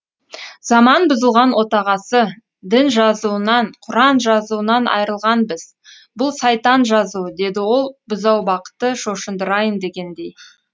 заман бұзылған отағасы дін жазуынан құран жазуынан айрылғанбыз бұл сайтан жазуы деді ол бұзаубақты шошындырайын дегендей